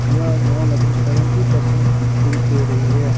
यह मॉल अभी seventy percent छुट दे रही है।